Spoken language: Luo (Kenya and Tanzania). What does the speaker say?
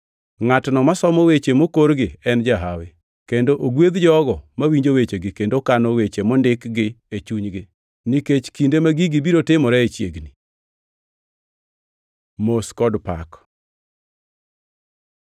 Ngʼatno masomo weche mokorgi en jahawi kendo ogwedh jogo mawinjo wechegi kendo kano weche mondikgi e chunygi, nikech kinde ma gigi biro timoree chiegni. Mos kod pak